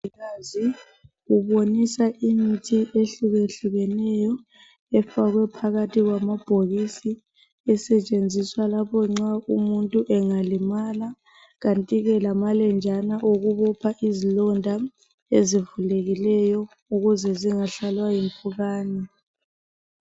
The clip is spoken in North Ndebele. Umongikazi ubonisa imithi ehlukehlukeneyo efakwe phakathi kwamabhokisi esetshenziswa lapho nxa umuntu engalimala. Kantike lamalenjana okubopha izilonda ezivulekileyo ukuze zingahlalwa yimpukani.